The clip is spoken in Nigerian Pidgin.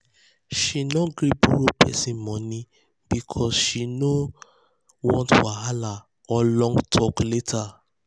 she no gree borrow person money because she no because she no want wahala or long talk um later.